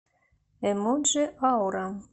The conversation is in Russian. эмоджи аура